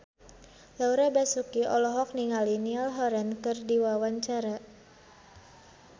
Laura Basuki olohok ningali Niall Horran keur diwawancara